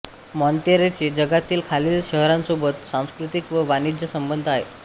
मॉंतेरेचे जगातील खालील शहरांसोबत सांस्कृतिक व वाणिज्य संबंध आहेत